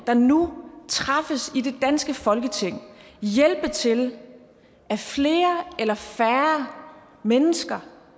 der nu træffes i det danske folketing hjælpe til at flere eller færre mennesker